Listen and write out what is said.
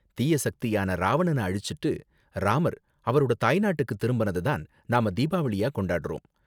தீய சக்தியான ராவணன அழிச்சுட்டு ராமர் அவரோட தாய்நாட்டுக்கு திரும்புனத தான் நாம தீபாவளியா கொண்டாடுறோம்.